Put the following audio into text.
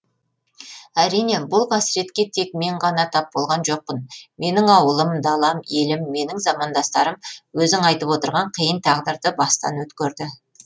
әрине бұл қасіретке тек мен ғана тап болған жоқпын менің ауылым далам елім менің замандастарым өзің айтып отырған қиын тағдырды бастан өткерді